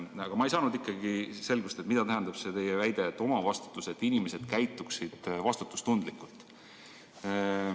Aga ma ei saanud ikkagi selgust, mida tähendab see teie väide: omavastutus on selleks, et inimesed käituksid vastutustundlikult.